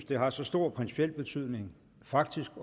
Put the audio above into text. det har så stor principiel betydning faktisk